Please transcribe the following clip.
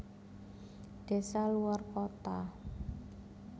Desa luwar kota